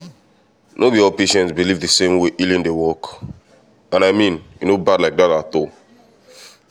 no be all patients believe the same way healing dey work — and i mean e no bad like that at all.